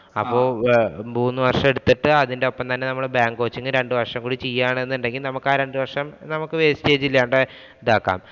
അപ്പൊ മൂന്നു വര്‍ഷം എടുത്തിട്ടു അതിന്‍റെ ഒപ്പം തന്നെ നമ്മള് bank coaching രണ്ടു വര്‍ഷം ചെയ്യുകയാണ് എന്നുണ്ടെങ്കില്‍ നമുക്കാ രണ്ടു വര്‍ഷം നമുക്ക് wastage ഇല്ലാണ്ട് ഇതാക്കാം.